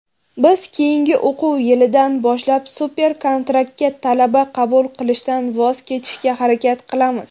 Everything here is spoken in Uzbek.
"Biz keyingi o‘quv yilidan boshlab "super-kontrakt"ga talaba qabul qilishdan voz kechishga harakat qilamiz.